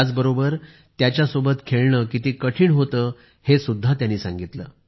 त्याचबरोबर त्यांच्यासोबत खेळणे किती कठीण होते हे सुद्धा त्याने सांगितले